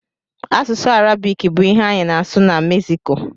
Asụsụ Arabik bụ ihe anyị na-asụ na Meksiko.